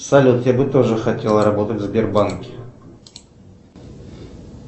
салют я бы тоже хотел работать в сбербанке